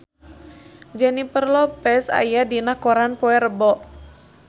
Jennifer Lopez aya dina koran poe Rebo